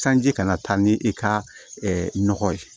Sanji kana taa ni i ka nɔgɔ ye